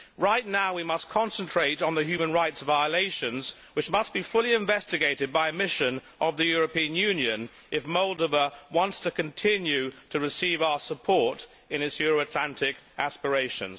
Right now we must concentrate on the human rights violations, which must be fully investigated by a mission of the European Union if Moldova wants to continue to receive our support in its EU Atlantic aspirations.